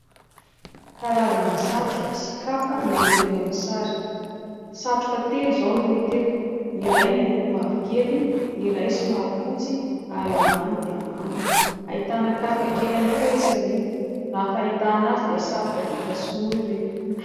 Karazana satroka sy kapa no hita eto amin'ny sary. Satroka telo izao no hita eto : ny iray miloko mavokely, ny iray somary fotsy ary eo ambany dia manga. Ahitana kapa kely ihany koa etsy aoriana. Raha ny fahitana azy dia satroka vita sinoa ireto.